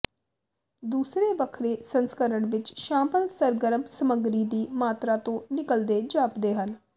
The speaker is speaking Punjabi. ਦੂਸਰੇ ਵੱਖਰੇ ਸੰਸਕਰਣ ਵਿੱਚ ਸ਼ਾਮਲ ਸਰਗਰਮ ਸਾਮੱਗਰੀ ਦੀ ਮਾਤਰਾ ਤੋਂ ਨਿਕਲਦੇ ਜਾਪਦੇ ਹਨ